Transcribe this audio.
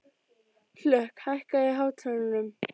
Hlökk, hækkaðu í hátalaranum.